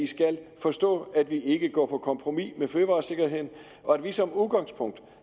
skal forstå at vi ikke går på kompromis med fødevaresikkerheden og at vi som udgangspunkt